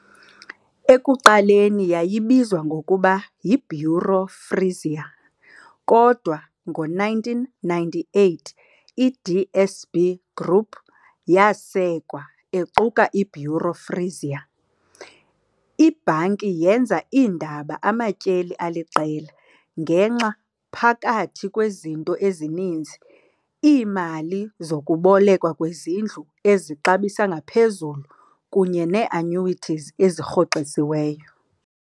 Ekuqaleni yayibizwa ngokuba "yiBuro Frisia", kodwa ngo-1998 iDSB Groep. yasekwa equka iBuro Frisia. Ibhanki yenza iindaba amatyeli aliqela, ngenxa, phakathi kwezinto ezininzi, iimali zokubolekwa kwezindlu ezixabisa ngaphezulu kunye neeannuities ezirhoxisiweyo.